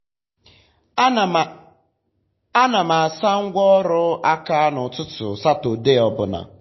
ana m asa ngwa ọrụ aka n'ụtụtụ satọdee ọ bụla.